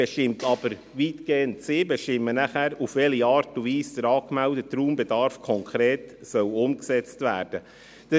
Es ist aber weitgehend die BVE, welche dann bestimmt, auf welche Art und Weise der angemeldete Raumbedarf konkret umgesetzt werden soll.